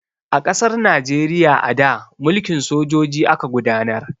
A ƙasar Najeriya a da, mulkin sojoji aka gudanar.